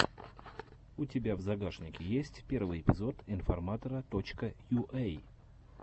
у тебя в загашнике есть первый эпизод информатора точка юэй